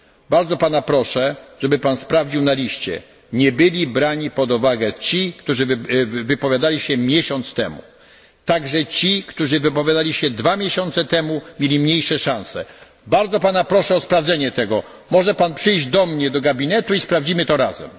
Bardzo pana proszę, żeby sprawdził pan na liście nie byli brani pod uwagę posłowie, którzy wypowiadali się miesiąc temu. Także ci, którzy wypowiadali się dwa miesiące temu, mieli mniejsze szanse. Bardzo pana proszę o sprawdzenie tego faktu. Może pan przyjść do mnie do gabinetu i sprawdzimy to razem.